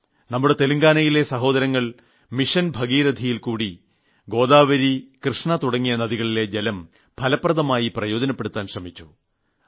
നമ്മുടെ തെലുങ്കാനയിലെ സഹോദരങ്ങൾ മിഷൻ ഭാഗീരഥിയിൽക്കൂടി ഗോദാവരി കൃഷ്ണ തുടങ്ങിയ നദികളിലെ ജലം ഫലപ്രദമായി പ്രയോജനപ്പെടുത്താൻ ശ്രമിച്ചു